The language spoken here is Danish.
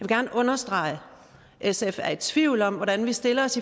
gerne understrege at sf er i tvivl om hvordan vi stiller os